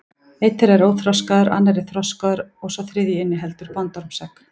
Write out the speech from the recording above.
Einn þeirra er óþroskaður, annar er þroskaður og sá þriðji inniheldur bandormsegg.